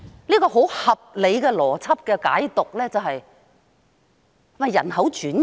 一個很合理的邏輯解讀，是她想進行人口轉移嗎？